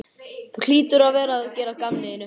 Þú hlýtur að vera að gera að gamni þínu?